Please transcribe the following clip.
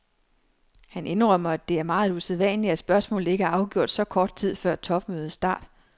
Han indrømmer, at det er meget usædvanligt at spørgsmålet ikke er afgjort så kort tid før topmødets start.